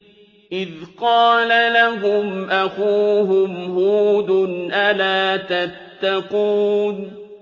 إِذْ قَالَ لَهُمْ أَخُوهُمْ هُودٌ أَلَا تَتَّقُونَ